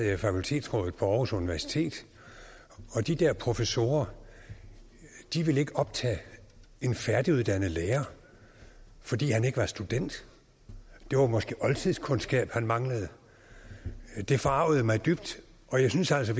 i fakultetsrådet på aarhus universitet og de der professorer ville ikke optage en færdiguddannet lærer fordi han ikke var student det var måske oldtidskundskab han manglede det forargede mig dybt og jeg synes altså